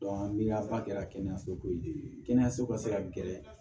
miliyaba kɛra kɛnɛyaso koyi kɛnɛyaso ka se ka gɛrɛ